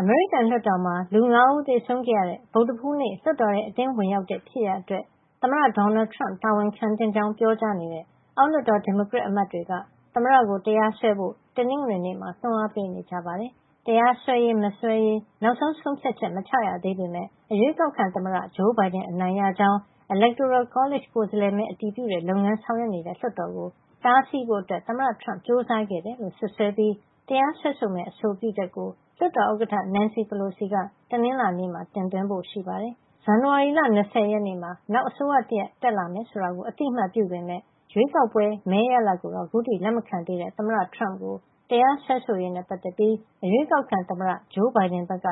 အမေရိကန်လွှတ်တော်မှာ လူ ၅ ဦးသေဆုံးခဲ့ရတဲ့ ဗုဒ္ဓဟူးနေ့က လွှတ်တော်ထဲ အတင်းဝင်ရောက်တဲ့ ဖြစ်ရပ်အတွက် သမ္မတ Donald Trump တာဝန်ခံသင့်ကြောင်း ပြောကြားနေတဲ့ အောက်လွှတ်တော် ဒီမိုကရက်အမတ်တွေက သမ္မတကို တရားစွဲဖို့ တနင်္ဂနွေနေ့မှာလည်း တွန်းအားပေးနေကြပါတယ်။ တရားစွဲရေးမစွဲရေး နောက်ဆုံး ဆုံးဖြတ်ချက် မချရသေးပေမယ့် အရွေးကောက်ခံသမ္မတ Joe Biden အနိုင်ရကြောင်း Electoral College ကိုယ်စားလှယ်မဲ အတည်ပြုတဲ့လုပ်ငန်း ဆောင်ရွက်နေတဲ့ လွှတ်တော်ကို တားဆီးဖို့ သမ္မတ Trump ကြိုးစားခဲ့တယ်လို့ စွပ်စွဲပြီး တရားစွဲဆိုမယ့် အဆိုပြုချက်ကို လွှတ်တော်ဥက္ကဋ္ဌ Nancy Pelosi က တနင်္လာနေ့မှာ တင်သွင်းဖို့ရှိပါတယ်။ ဇန်နဝါရီလ ၂၀ မှာ နောက်အစိုးရတရပ် တက်လာမယ်ဆိုတာကို အသိအမှတ်ပြုပေမယ့် ရွေးကောက်ပွဲ မဲရလဒ်ကိုတော့ ခုထိ လက်မခံသေးတဲ့ သမ္မတ Trump ကို တရားစွဲဆိုရေးနဲ့ ပတ်သက်ပြီး အရွေးကောက်ခံသမ္မတ Biden ဘက်က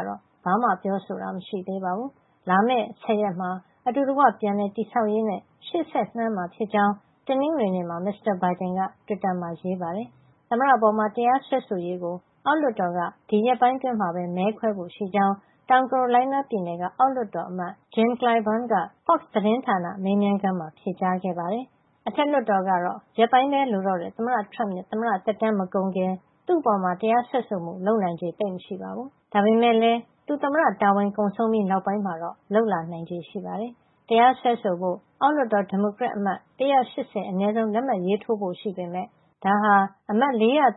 ဘာမှ ပြောဆိုတာ မရှိသေးပါဘူး။ လာမယ့် ၁၀ ရက်မှာ အတူတကွ ပြန်လည်တည်ဆောက်ရေးနဲ့ ရှေ့ဆက်လှမ်းမှာ ဖြစ်ကြောင်း တနင်္ဂနွေနေ့မှာ Mr. Biden က တွစ်တာမှာ ရေးပါတယ်။ သမ္မတ Trump ရဲ့ သမ္မတသက်တမ်း ရှေ့သီတင်းပတ်လောက်မှာ ကုန်ဆုံးတော့မှာဖြစ်ပေမယ့် သမ္မတအပေါ် တရားစွဲဆိုရေးကို အောက်လွှတ်တော်က ဒီရက်ပိုင်းအတွင်းမှာပဲ မဲခွဲဖို့ရှိကြောင်း တောင်ကာရိုလိုင်းနားပြည်နယ်က အောက်လွှတ်တော်အမတ် Jim Clyburn က Fox သတင်းဌာန မေးမြန်းခန်းမှာ ဖြေကြားခဲ့ပါတယ်။ အထက်လွှတ်တော်ကတော့ ရက်ပိုင်းပဲလိုတော့တဲ့ သမ္မတ Trump ရဲ့ သမ္မတသက်တမ်း မကုန်ခင် သူ့အပေါ် တရားစွဲဆိုမှု လုပ်နိုင်ခြေ သိပ်မရှိပါဘူး။ ဒါပေမယ့်လည်း သူ သမ္မတတာဝန်ကုန်ဆုံးပြီး နောက်ပိုင်းမှာတော့ လုပ်လာနိုင်ပါတယ်။ တရားစွဲဆိုဖို့ အောက်လွှတ်တော် ဒီမိုကရက်အမတ် ၁၈၀ အနည်းဆုံး လက်မှတ်ရေးထိုးဖို့ ရှိပေမယ့် ဒါဟာ အမတ် ၄၃၅ ယောက်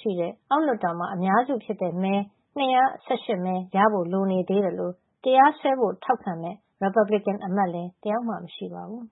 ရှိတဲ့ အောက်လွှတ်တော်မှာ အများစုဖြစ်တဲ့ မဲ ၂၁၈ မဲရဖို့ လိုနေသေးသလို တရားစွဲဖို့ ထောက်ခံမယ့် ရီပတ်ဘလီကန်အမတ်လည်း တယောက်မှမရှိပါဘူး